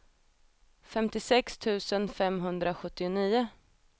femtiosex tusen femhundrasjuttionio